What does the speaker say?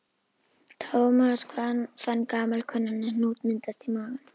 Thomas fann gamalkunnan hnút myndast í maganum.